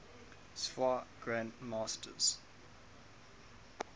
sfwa grand masters